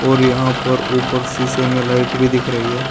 और यहां पर ऊपर शीशे में लाइट भी दिख रही है।